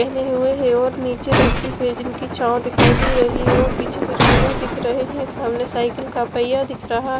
पहने हुए हैं और नीचे धरती पे जिनकी छांव दिखाई दे रही है और पीछे कुछ पेड़े दिख रहे हैं सामने साइकिल का पहिया दिख रहा--